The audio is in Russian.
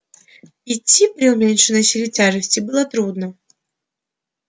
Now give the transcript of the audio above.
идти при уменьшенной силе тяжести было трудно